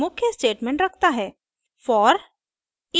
ruby निम्नलिखित मुख्य statement रखता है